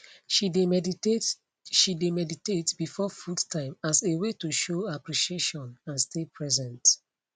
she de meditate she de meditate before food time as a way to show appreciation and stay present